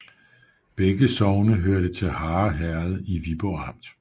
Begge sogne hørte til Harre Herred i Viborg Amt